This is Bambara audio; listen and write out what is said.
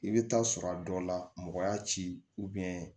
I bɛ taa sɔrɔ a dɔ la mɔgɔ y'a ci